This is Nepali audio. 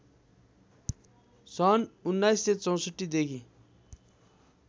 सन् १९६४ देखि